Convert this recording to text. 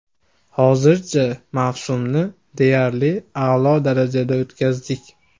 Hozirgacha mavsumni deyarli a’lo darajada o‘tkazdik.